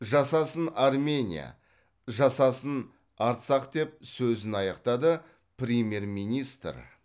жасасын армения жасасын арцах деп сөзін аяқтады премьер министр